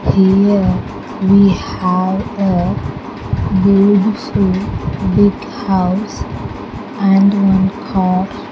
Here we have a beautiful big house and one car.